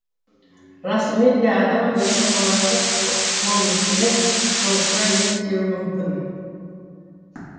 расымен де адам өзінің болашақ болмысымен жолықса не істеуі мүмкін